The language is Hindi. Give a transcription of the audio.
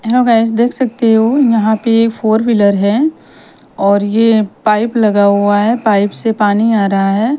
हेलो गाइज देख सकते हो यहां पे फोर व्हीलर है और ये पाइप लगा हुआ है पाइप से पानी आ रहा है।